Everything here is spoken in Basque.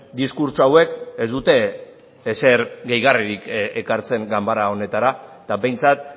diskurtso hauek ez dute ezer deigarririk ekartzen ganbara honetara eta behintzat